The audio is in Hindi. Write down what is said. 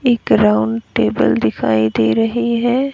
एक राउंड टेबल दिखाई दे रही है।